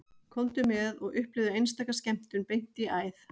Komdu með og upplifðu einstaka skemmtun beint í æð